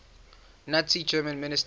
nazi germany ministers